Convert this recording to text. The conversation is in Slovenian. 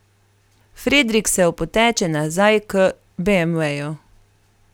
Fredrik se opoteče nazaj k beemveju.